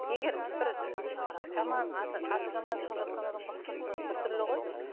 егер бір ііі жаман аты аты жаман шығып жатқан адамға ұқсатса біртүрлі ғой